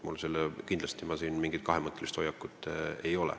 Mul ei ole siin mingit kahemõttelist hoiakut.